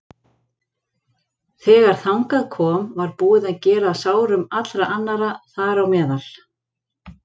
Þegar þangað kom var búið að gera að sárum allra annarra, þar á meðal